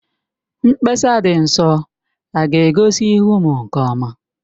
Mkpesa dị nso a ga-egosi ihu m nke ọma?